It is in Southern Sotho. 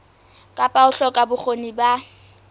kapa ho hloka bokgoni ba